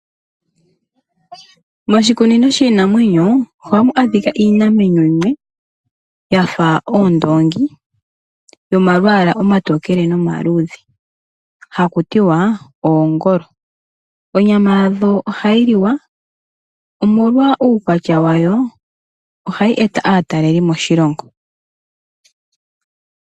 Moshikunino shiinamwenyo ohamu adhika iinamwenyo yimwe yafa oondoongi yomalwaala omatokele nomaluudhe hakutiwa oongolo. Onyama yadho ohayi li wa. Omolwa uukwatya wayo ohayi eta aataleli po moshilongo.